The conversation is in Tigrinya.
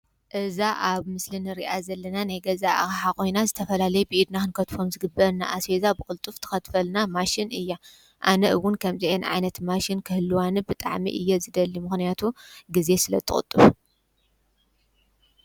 እዛ ኣብ ምስሊ ንሪኣ ዘለና ናይ ገዛ ኣቕሓ ኾይና ዝተፈላለይ ብኢድ ኽንከትፎም ዝግበአና ኣስቤዛ ብቕልጡፍ ትኸትፈልና ማሽን እያ፡፡ ኣነ እውን ከምዚኤን ዓይነት ማሽን ክህልዋኒ ብጣዕሚ እየ ዝደሊ፡፡ ምኾንያቱ ጊዜ ስለ ችቁጡብ፡፡